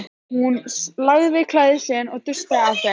Hún lagaði klæði sín og dustaði af þeim.